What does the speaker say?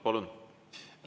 Palun!